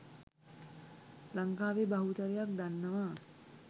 ලංකාවේ බහුතරයක් දන්නවා.